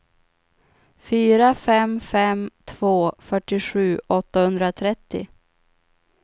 fyra fem fem två fyrtiosju åttahundratrettio